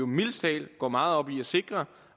mildest talt går meget op i at sikre